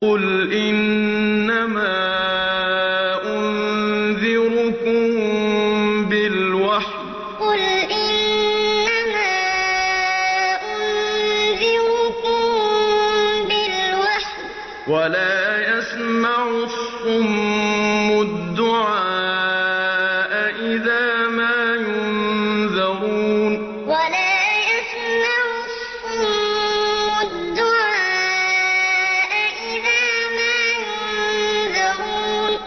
قُلْ إِنَّمَا أُنذِرُكُم بِالْوَحْيِ ۚ وَلَا يَسْمَعُ الصُّمُّ الدُّعَاءَ إِذَا مَا يُنذَرُونَ قُلْ إِنَّمَا أُنذِرُكُم بِالْوَحْيِ ۚ وَلَا يَسْمَعُ الصُّمُّ الدُّعَاءَ إِذَا مَا يُنذَرُونَ